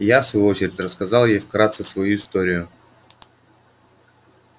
я в свою очередь рассказал ей вкратце свою историю